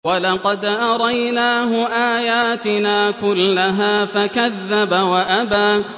وَلَقَدْ أَرَيْنَاهُ آيَاتِنَا كُلَّهَا فَكَذَّبَ وَأَبَىٰ